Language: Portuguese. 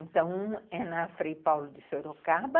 Então, um é na Frei Paulo de Sorocaba,